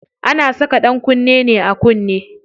Ana saka ɗankunne ne a kunne.